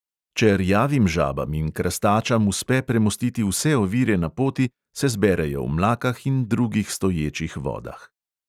Če rjavim žabam in krastačam uspe premostiti vse ovire na poti, se zberejo v mlakah in drugih stoječih vodah.